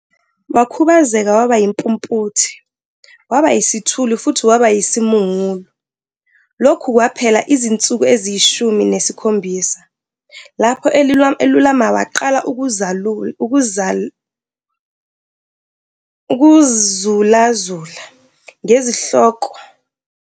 Wakhubazeka, waba yimpumputhe, waba yisithulu futhi waba yisimungulu. Lokhu kwaphela izinsuku eziyishumi nesikhombisa. Lapho elulama waqala "ukuzulazula" ngezihloko zenkolo futhi waqala ukucaphuna imibhalo. Lokho akusho kwabhalwa nguJohn noPeter, izingoma zika- Edward Rodes, nenye indoda okwakuthiwa nguJohn Cromwell.